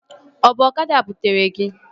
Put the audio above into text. Ọ bụ ọkada butere gị?